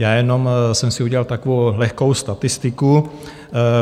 Já jenom jsem si udělal takovou lehkou statistiku.